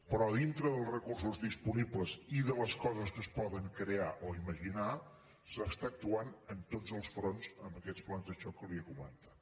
però dintre dels recursos disponibles i de les coses que es poden crear o imaginar s’està actuant en tots els fronts amb aquests plans de xoc que li he comentat